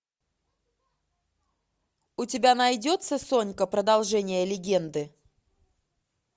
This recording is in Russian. у тебя найдется сонька продолжение легенды